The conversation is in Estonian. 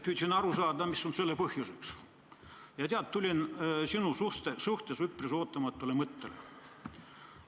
Püüdsin aru saada, mis on selle põhjuseks, ja tead, tulin üpris ootamatule mõttele.